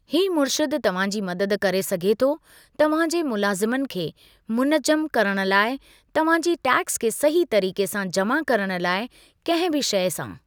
ही मुर्शिदु तव्हां जी मददु करे सघे थो तव्हां जे मुलाज़िमनि खे मुनज़्ज़म करणु लाइ तव्हां जी टैक्स खे सही तरीक़े सां जमा करणु लाइ, कंहिं बि शइ सां।